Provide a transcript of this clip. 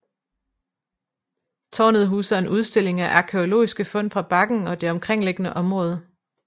Tårnet huser en udstilling af arkæologiske fund fra bakken og det omkringliggende område